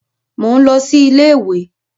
Mò ń lọ sí iléèwé